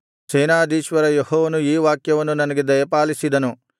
ಸೇನಾಧೀಶ್ವರ ಯೆಹೋವನು ಈ ವಾಕ್ಯವನ್ನು ನನಗೆ ದಯಪಾಲಿಸಿದನು